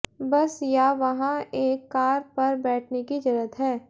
बस या वहाँ एक कार पर बैठने की जरूरत है